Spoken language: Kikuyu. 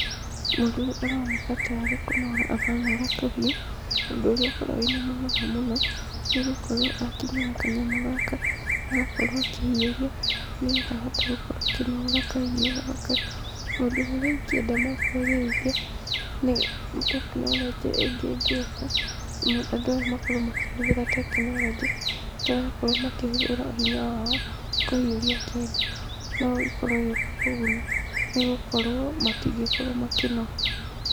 Mũndũ ũyũ aroneka ta arĩ kũnora aranora kahiũ, ũndũ ũrĩa ũkoragwo wĩna mũnoga mũno, nĩgũkorwo akinyaga kanyamũ gaka, agakorwo akĩhiũria, nĩ getha ahote gũkorwo akĩnora kahiũ gaka. Maũndũ marĩa ingĩenda ma kũagĩrithia ni technology ingĩ ĩngĩuka andũ aya makorwo makĩhuthĩra technology matarakorwo makĩhũthĩra hinya wao kũhiũria kĩndũ. No ĩkorwo ĩgĩũka kũguna nĩgũkorwo matingĩkorwo makĩnoga.